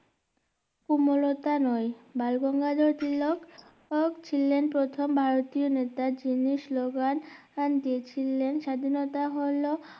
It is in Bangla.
কমোলতা নয় বালগঙ্গাধর তিলক ছিলেন প্রথম ভারতীয় নেতা যিনি স্লো গান দিয়েছিলেন স্বাধীনতা হলো